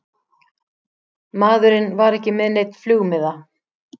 Maðurinn var ekki með neinn flugmiða